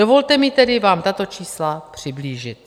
Dovolte mi tedy vám tato čísla přiblížit.